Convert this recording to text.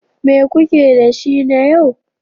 Me kuke da shi na yau?